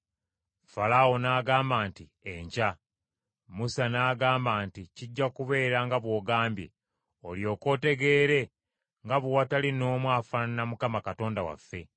Falaawo n’agamba nti, “Enkya.” Musa n’agamba nti, “Kijja kubeera nga bw’ogambye, olyoke otegeere nga bwe watali n’omu afaanana nga Mukama Katonda waffe.